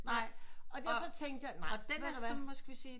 Nej og derfor tænkte jeg nej ved du hvad